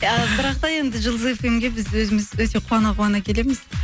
а бірақ та енді жұлдыз фм ге біз өзіміз өте қуана қуана келеміз